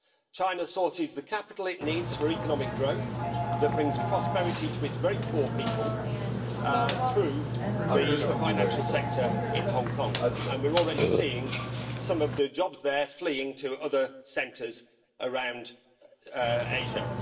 China sources the capital it needs for economic growth which brings prosperity to its very poor people through the financial sector in Hong Kong, and we're already seeing some of the jobs there fleeing to other centres around Asia.